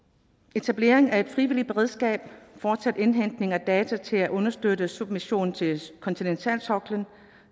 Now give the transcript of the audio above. etableringen af et frivilligt beredskab fortsat indhentning af data til at understøtte submission til kontinentalsoklen